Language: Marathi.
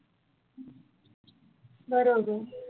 बरोबर